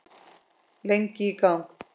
Lengi í gang.